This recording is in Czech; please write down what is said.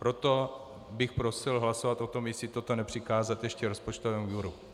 Proto bych prosil hlasovat o tom, jestli toto nepřikázat ještě rozpočtovému výboru.